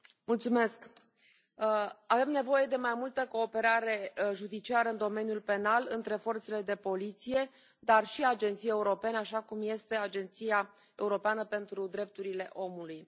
Doamnă președintă, avem nevoie de mai multă cooperare judiciară în domeniul penal, între forțele de poliție, dar și agențiile europene, așa cum este Agenția europeană pentru drepturile omului.